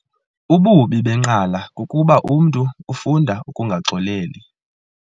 Ububi benqala kukuba umntu ufunda ukungaxoleli.